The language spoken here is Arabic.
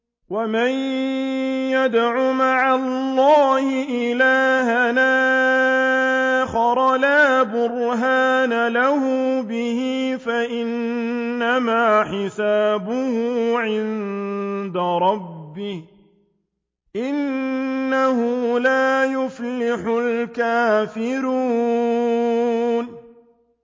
وَمَن يَدْعُ مَعَ اللَّهِ إِلَٰهًا آخَرَ لَا بُرْهَانَ لَهُ بِهِ فَإِنَّمَا حِسَابُهُ عِندَ رَبِّهِ ۚ إِنَّهُ لَا يُفْلِحُ الْكَافِرُونَ